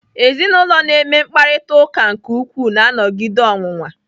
Ezinụlọ na-eme mkparịtaụka ụka nke ukwuu na-anọgide ọnwụnwa.